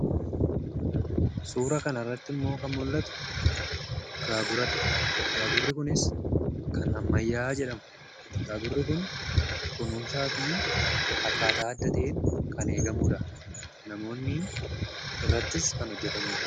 Suuraa kanarratti immoo kan mul'atu gaaguradha. Gaagurri kunis kan ammayyaa jedhama. Gaagurri kun kunuunsaa fi akkaataa adda ta'etti kan eegamuudha. Namoonni irrattis kan hojjataniidha.